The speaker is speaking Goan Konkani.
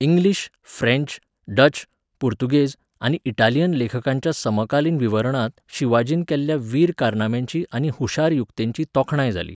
इंग्लीश, फ्रेंच, डच, पुर्तुगेज आनी इटालियन लेखकांच्या समकालीन विवरणांत शिवाजीन केल्ल्या वीर कारनाम्यांची आनी हुशार युक्तेंची तोखणाय जाली.